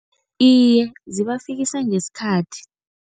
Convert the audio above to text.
Iye, zibafikisa ngesikhathi.